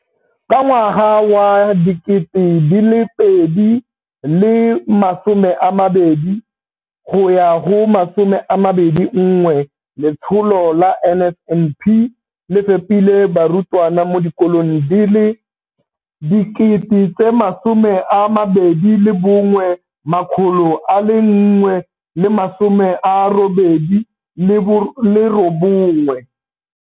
Ka ngwaga wa 2020-21, letsholo la NSNP le fepile barutwana mo dikolong di le 21 189 ka dijo.